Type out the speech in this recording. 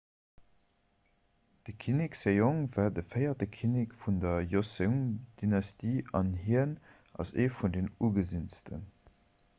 de kinnek sejong war de véierte kinnek vun der joseon-dynastie an hien ass ee vun den ugesinnsten